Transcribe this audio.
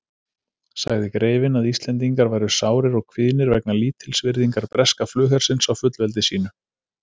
Sagði greifinn, að Íslendingar væru sárir og kvíðnir vegna lítilsvirðingar breska flughersins á fullveldi sínu.